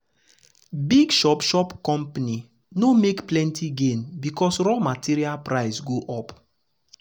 big shop shop company no make plenty gain because raw material price go up.